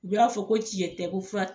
U y'a fɔ ko tiɲɛ tɛ ko fura